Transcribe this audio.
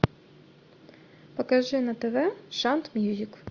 покажи на тв шант мьюзик